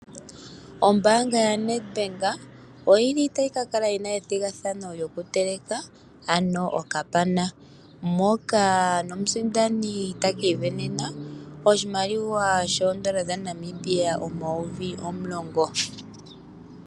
Ombaanga ya Nedbank oyili tayi kakala yina ethigathano lyo kuteleka okapana, moka omusindani taka isindanena oshimaliwa shoondola dha Namibia omayovi omulongo.